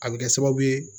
A bɛ kɛ sababu ye